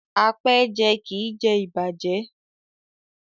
Apẹ́ẹ́jẹ kì í jẹ ìbàjẹ́.